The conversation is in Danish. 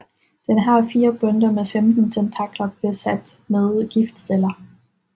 Den har fire bundter med 15 tentakler besat med giftceller